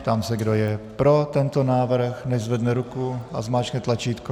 Ptám se, kdo je pro tento návrh, nechť zvedne ruku a zmáčkne tlačítko.